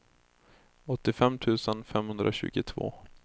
åttiofem tusen femhundratjugotvå